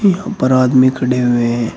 यहाँ पर आदमी खड़े हुए हैं।